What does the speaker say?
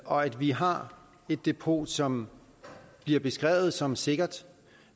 og at vi har et depot som bliver beskrevet som sikkert